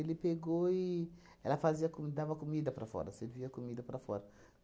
pegou e ela fazia co, dava comida para fora, servia comida para fora.